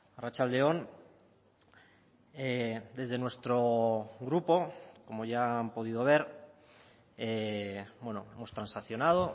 arratsalde on desde nuestro grupo como ya han podido ver hemos transaccionado